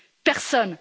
Personne.